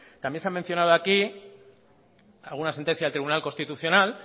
también se han mencionado aquí alguna sentencia del tribunal constitucional